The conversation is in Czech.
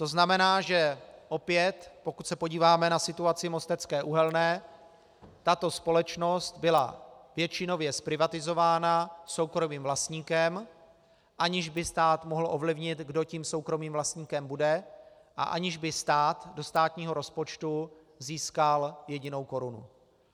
To znamená, že opět, pokud se podíváme na situaci Mostecké uhelné, tato společnost byla většinově zprivatizována soukromým vlastníkem, aniž by stát mohl ovlivnit, kdo tím soukromým vlastníkem bude, a aniž by stát do státního rozpočtu získal jedinou korunu.